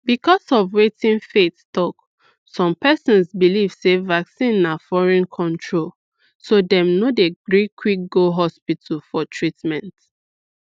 because of wetin faith talk some persons belief sey vaccine na foreign controlso dem no dey gree quick go hospital for treatment